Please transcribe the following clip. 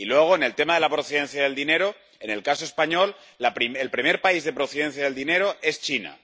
Y luego, en el tema de la procedencia del dinero, en el caso español, el primer país de procedencia del dinero es China.